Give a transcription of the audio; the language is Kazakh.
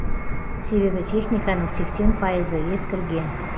себебі техниканың сексен пайызы ескірген